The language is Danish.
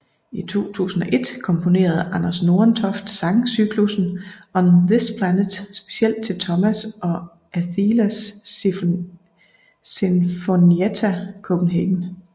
I 2001 komponerede Anders Nordentoft sangcyklussen On this Planet specielt til Thomas og Athelas Sinfonietta Copenhagen